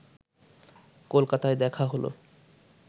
কলকাতায় দেখা হলো